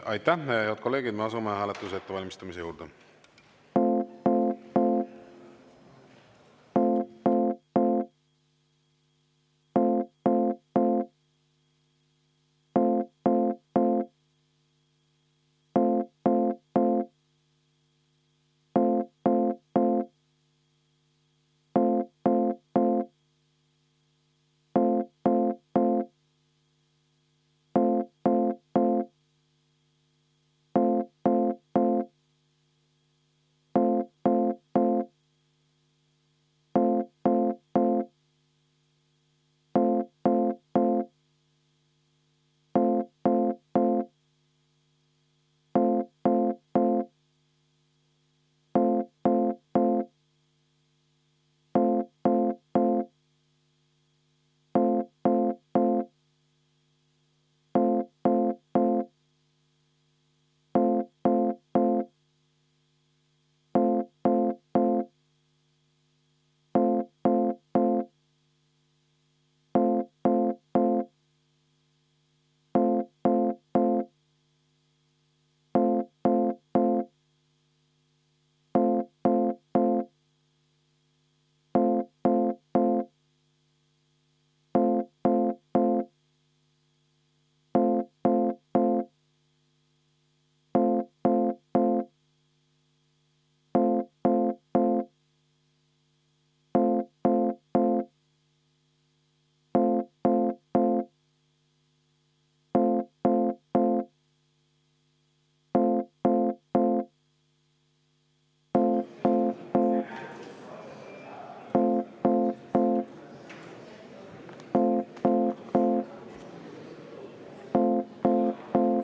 Head kolleegid, me asume hääletuse ettevalmistamise juurde.